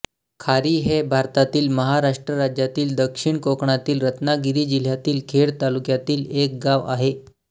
खारी हे भारतातील महाराष्ट्र राज्यातील दक्षिण कोकणातील रत्नागिरी जिल्ह्यातील खेड तालुक्यातील एक गाव आहे